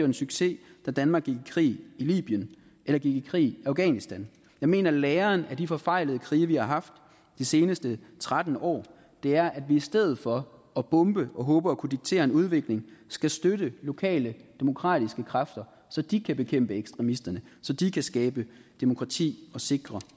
en succes da danmark gik i krig i libyen eller gik i krig i afghanistan jeg mener at læren af de forfejlede krige vi har haft de seneste tretten år er at vi i stedet for at bombe og håbe på at kunne diktere en udvikling skal støtte lokale demokratiske kræfter så de kan bekæmpe ekstremisterne og så de kan skabe demokrati og sikre